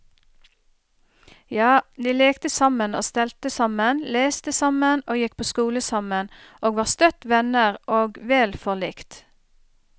Ja, de lekte sammen og stelte sammen, leste sammen og gikk på skole sammen, og var støtt venner og vel forlikt.